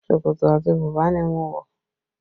Ṣòkòtò àti bùbá ni mo wọ